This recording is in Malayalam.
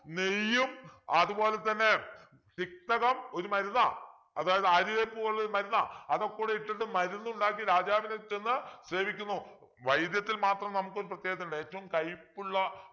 നെയ്യും അതുപോലെ തന്നെ തിക്തകം ഒരു മരുന്നാ അതായത് ആര്യവേപ്പ് പോലൊരു മരുന്നാ അതൊക്കെ കൂടെ ഇട്ടിട്ട് മാറുന്നുണ്ടാക്കി രാജാവിന് ചെന്ന് സേവിക്കുന്നു വൈദ്യത്തിൽ മാത്രം നമുക്ക് പ്രത്യേകതയുണ്ട് ഏറ്റവും കയ്പ്പുള്ള